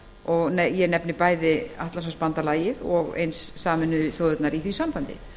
og nefni ég bæði atlantshafsbandalagið og sameinuðu þjóðirnar í því sambandi